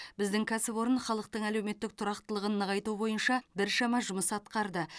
біздің кәсіпорын халықтың әлеуметтік тұрақтылығын нығайту бойынша біршама жұмыс атқарды